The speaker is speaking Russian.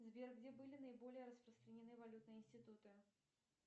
сбер где были наиболее распространены валютные институты